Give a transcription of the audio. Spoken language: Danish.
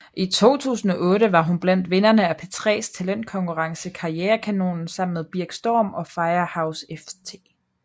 I 2008 var hun blandt vinderne af P3s talentkonkurrence Karrierekanonen sammen med Birk Storm og Firehouse ft